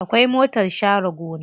Akwai motar share gona.